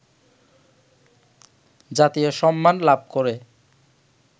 জাতীয় সম্মান লাভ করে